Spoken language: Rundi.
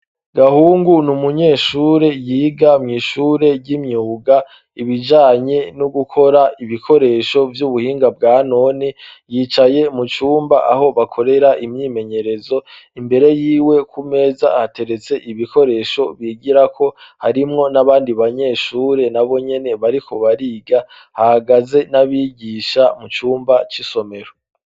Gahungu ni umunyeshure yiga mu ishure ry'imyuga ibijanye no gukora ibikoresho vy'ubuhinga bwa none yicaye mu cumba aho bakorera imyimenyerezo imbere yiwe ku meza hateretse ibikoresho bigirako harimwo n'abandi banyeshure nabonyene bariko bariga hagaze n'abigisha mu cumba y'isomero.